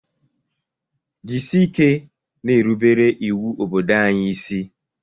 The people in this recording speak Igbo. Jisike na-erubere iwu obodo anyi ịsị